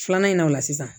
Filanan in na o la sisan